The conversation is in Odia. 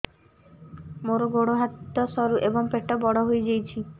ମୋର ଗୋଡ ହାତ ସରୁ ଏବଂ ପେଟ ବଡ଼ ହୋଇଯାଇଛି